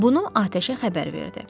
Bunu atəşə xəbər verdi.